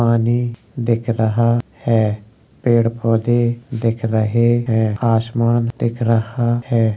पानी दिख रहा है| पेड़ पौधे दिख रहे है| आसमान दिख रहा है।